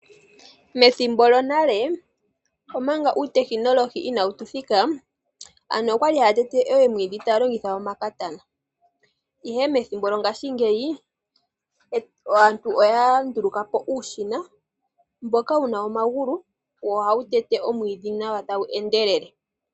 Methimbo lyonale omanga uutekinolohi inawu thika, aantu okwali haya tete oomwiidhi taya longitha omakatana, ihe methimbo lyo ngaashingeyi aantu oya nduluka po uushina mboka wuna omagulu, wo ohawu tete oomwiidhi nawa tawu endelele.